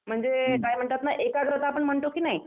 म्हणजे काय म्हणतात ना एकाग्रता आपण म्हणतो की नाही